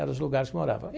Eram os lugares que morava.